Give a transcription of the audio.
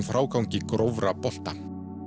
frágangi grófra bolta